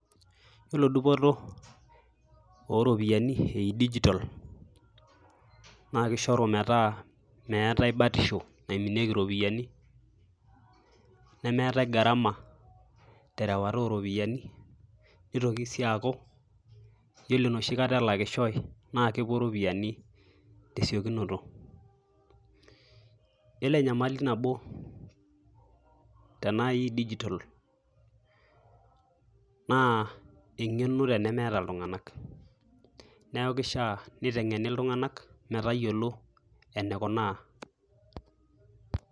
Iyioolo dupoto o ropiani e dijital naake ishoru metaa meetai batisho naiminieki ropiani, nemeetai gharama te rewata o ropiani, nitoki sii aaku iyiolo enoshi kata elakishoi naa kepuo iropiani te siokinoto. Iyiolo enyamali nabo tenai dijital naa eng'eno tenemeeta iltung'anak neeku kishaa teniteng'eni iltung'anak metayiolo enikunaa.